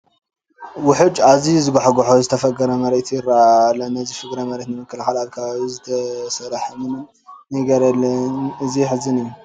ውሑጅ ኣዝዩ ዝጓሕጉሖ ዝተፈግረ መሬት ይርአ ኣሎ፡፡ ነዚ ፍግረ መሬት ንምክልኻል ኣብዚ ከባቢ ዝተሰርሐ ምንም ነገር የለን፡፡ እዚ የሕዝን እዩ፡፡